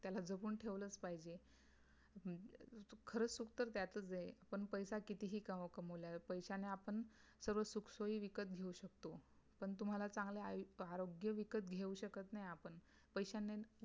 त्याला जपून ठेवलाच पाहिजे खरं सुख तर त्यातच आहे पण पैसे कितीही कमवला पैश्याने आपण सर्व सुखसोई विकत घेऊ शकतो पण तुम्हला अचांगले आय आरोग्य विकत घेऊ शकत नाही आपण पैशाने